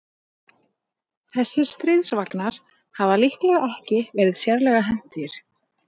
Þessir stríðsvagnar hafa líklega ekki verið sérlega hentugir.